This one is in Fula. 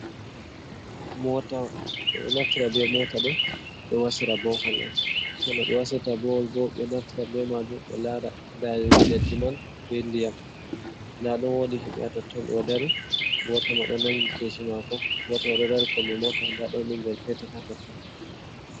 Moota ɓe naftira be moota ɗo, ɓe wasira bohol on. So no ɓe wasirta bowol bo, ɓe ɗo naftira be maajum ,ɓe laara daayugo leddi man be ndiyam ,ndaa ɗon woodi himɓe haa totton. Ɓe ɗo dari gooto ma ɗo nanngi keesi maako, gooto bo o ɗo dari kombi moota, ndaa ɗon binngel peetel hatotto.